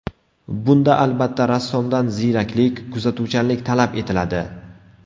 Bunda, albatta, rassomdan ziyraklik, kuzatuvchanlik talab etiladi.